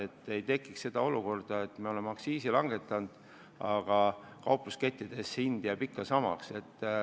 Ei tohi tekkida olukorda, et me oleme aktsiisi langetanud, aga kauplusekettides jääb hind ikka samaks.